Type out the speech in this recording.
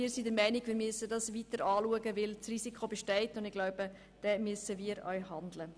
Wir sind der Meinung, dies müsse weiter angeschaut werden, weil das Risiko besteht, und ich glaube, wir müssen auch handeln.